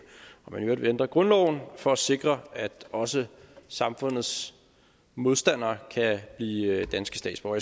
og i øvrigt vil ændre grundloven for at sikre at også samfundets modstandere kan blive danske statsborger